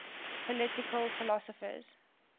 political philosophers